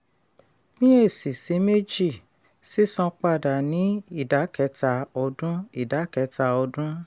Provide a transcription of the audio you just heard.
pín ẹ̀sì sí méjì sísan padà ní ìdá-kẹta ọdún. ìdá-kẹta ọdún.